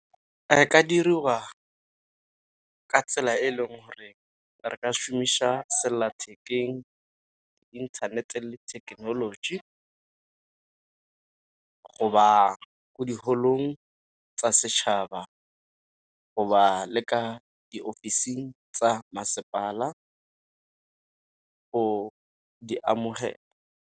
E ka diriwa ka tsela e e leng gore re ka šomiša sellathekeng, inthanete, le thekenoloji, go ba ko diholong tsa setšhaba, go ba leka diofising tsa masepala go di amogela.